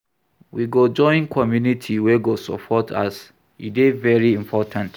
We go join community wey go support us, e dey very important.